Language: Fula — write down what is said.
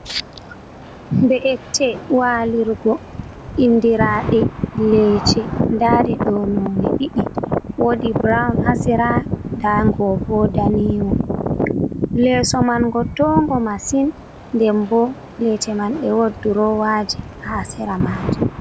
Be'ite walirgo indirade leece dade do none didi wodi brown hasera dango bo daniwo leso man go tongo masin den bo lece man be wodi drowaje hasera maje.